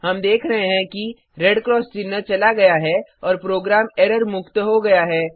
हम देख रहें हैं कि रेड क्रॉस चिन्ह चला गया है और प्रोग्राम एरर मुक्त हो गया है